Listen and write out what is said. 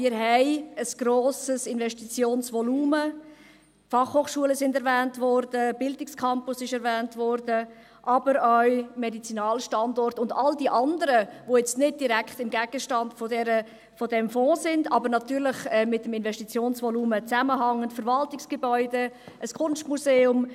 Wir haben ein grosses Investitionsvolumen, die Fachhochschulen wurden erwähnt, der Bildungscampus wurde erwähnt, aber auch der Medizinalstandort und all die anderen, die nun nicht direkt Gegenstand dieses Fonds sind, aber natürlich mit dem Investitionsvolumen zusammenhängen – die Verwaltungsgebäude, ein Kunstmuseum;